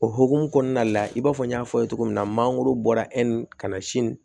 O hokumu kɔnɔna la i b'a fɔ n y'a fɔ cogo min na mangoro bɔra ka na si n